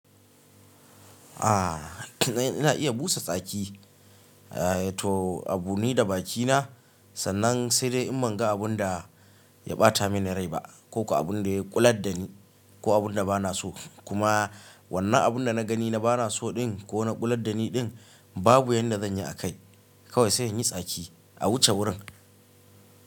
Aaa ina iya busa tsaki, eh to abu ni da bakina sannan sai dai in ban ga abun da ya ɓata mini rai ba ko abun da ya ƙular da ni ko abun da bana so kuma wannan abun da na gani na bana so ɗin ko na ƙular da ni ɗin babu yanda zan yi akai kawai sai in yi tsaki a wuce wurin.